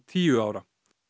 tíu ára